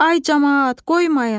Ay camaat, qoymayın.